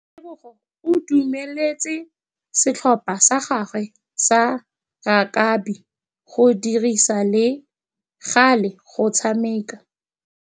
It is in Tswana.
Tebogô o dumeletse setlhopha sa gagwe sa rakabi go dirisa le galê go tshameka.